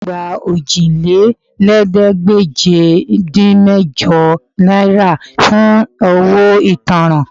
Ẹ̀gbọ́n mi yóò gba Òjìlélẹ́ẹ̀ẹ́dégbèje-dín-mẹ́jọ náírà fún owó ìtanràn